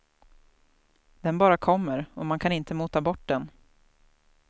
Den bara kommer och man kan inte mota bort den.